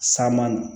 Saman